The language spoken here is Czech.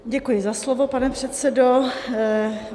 Děkuji za slovo, pane předsedo.